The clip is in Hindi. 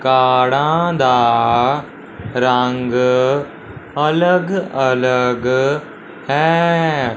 काडा दा रंग अलग अलग है।